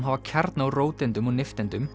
hafa kjarna úr róteindum og nifteindum